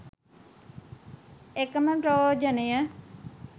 එකම ප්‍රයෝජනය